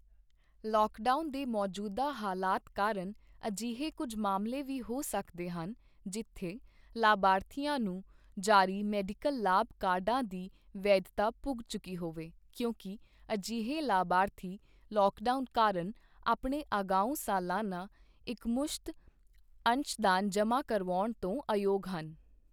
Lockdown ਦੇ ਮੌਜੂਦਾ ਹਾਲਾਤ ਕਾਰਨ, ਅਜਿਹੇ ਕੁਝ ਮਾਮਲੇ ਵੀ ਹੋ ਸਕਦੇ ਹਨ, ਜਿੱਥੇ ਲਾਭਾਰਥੀਆਂ ਨੂੰ ਜਾਰੀ ਮੈਡੀਕਲ ਲਾਭ ਕਾਰਡਾਂ ਦੀ ਵੈਧਤਾ ਪੁੱਗ ਚੁੱਕੀ ਹੋਵੇ ਕਿਉਂਕਿ ਅਜਿਹੇ ਲਾਭਾਰਥੀ ਲੌਕਡਾਊਨ ਕਾਰਨ ਆਪਣੇ ਅਗਾਊਂ ਸਲਾਨਾ ਇੱਕਮੁਸ਼ਤ ਅੰਸ਼ਦਾਨ ਜਮ੍ਹਾ ਕਰਵਾਉਣ ਤੋਂ ਅਯੋਗ ਹਨ।